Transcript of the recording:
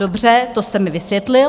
Dobře, to jste mi vysvětlil.